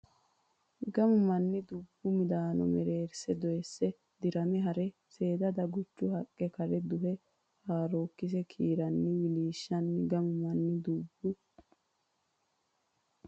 Gamu manni dubbo midaano mereerse doyisse dirame ha re seeda daguchu haqqa kare duhe haarookkise kiiranni wi wi lishanno Gamu manni dubbo.